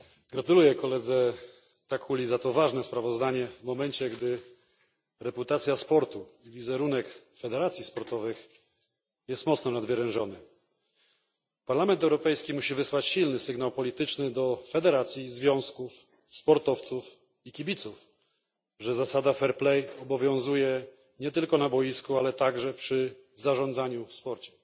Gratuluję posłowi Takkuli za to ważne sprawozdanie w momencie, gdy reputacja sportu, wizerunek federacji sportowych jest mocno nadwyrężony. Parlament Europejski musi wysłać silny sygnał polityczny do federacji, związków, sportowców i kibiców, że zasada obowiązuje nie tylko na boisku, ale także przy zarządzaniu w sporcie.